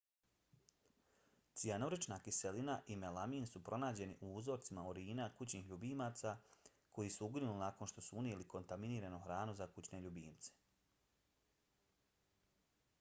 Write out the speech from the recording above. cijanurična kiselina i melamin su pronađeni u uzorcima urina kućnih ljubimaca koji su uginuli nakon što su unijeli kontaminiranu hranu za kućne ljubimce